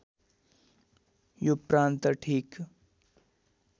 यो प्रान्त ठिक